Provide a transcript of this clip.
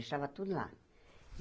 Deixava tudo lá.